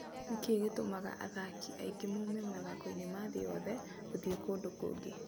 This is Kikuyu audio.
Nĩ kĩĩ gĩtũmaga athaki aingĩ moime mathako-inĩ ma thĩ yothe gũthiĩ kũndũ kũngĩ ?